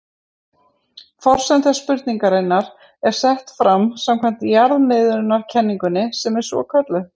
Forsenda spurningarinnar er sett fram samkvæmt jarðmiðjukenningunni sem svo er kölluð.